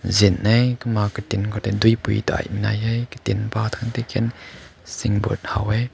chinai ma kumma katin deui pir nai hae katin ken input hao wae.